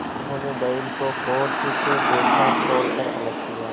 उन्होंने बैल को गौर से देखा खोल कर अलग किया